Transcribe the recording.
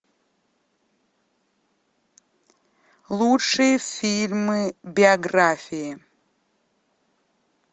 лучшие фильмы биографии